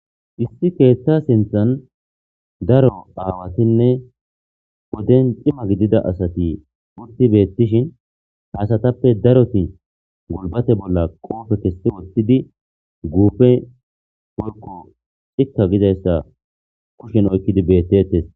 Issi keeththaa sinththan daro aawathinne woden cima gidida asathi uththi beeththishin ha asathape darothi gulbbatha bolla qoophe kessidi woththidi guufe woykko iththa gizayssa kushen oykkidi beeththeethes.